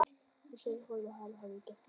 Ég sagði honum að hann hefði gert það sjálfur.